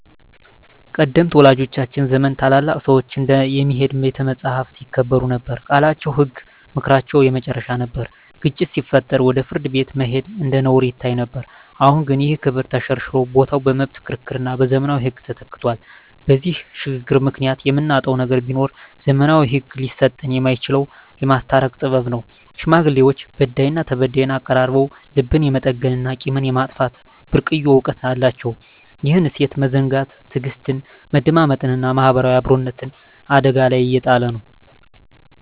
ቀደምት ወላጆቻችን ዘመን ታላላቅ ሰዎች እንደ "የሚሄድ ቤተ መጻሕፍት" ይከበሩ ነበር፤ ቃላቸው ህግ፣ ምክራቸው የመጨረሻ ነበር። ግጭት ሲፈጠር ወደ ፍርድ ቤት መሄድ እንደ ነውር ይታይ ነበር። አሁን ግን ይህ ክብር ተሸርሽሮ ቦታው በመብት ክርክርና በዘመናዊ ህግ ተተክቷል። በዚህ ሽግግር ምክንያት የምናጣው ነገር ቢኖር፣ ዘመናዊው ህግ ሊሰጠን የማይችለውን "የማስታረቅ ጥበብ" ነው። ሽማግሌዎች በዳይና ተበዳይን አቀራርበው ልብን የመጠገንና ቂምን የማጥፋት ብርቅዬ እውቀት አላቸው። ይህን እሴት መዘንጋት ትዕግስትን፣ መደማመጥንና ማህበራዊ አብሮነትን አደጋ ላይ እየጣለ ነው።